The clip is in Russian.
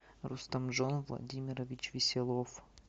рустамжон владимирович веселов